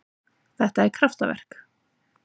Þetta er kraftaverk.